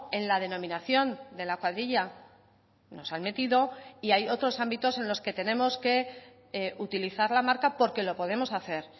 en la denominación de la cuadrilla nos han metido y hay otros ámbitos en los que tenemos que utilizar la marca porque lo podemos hacer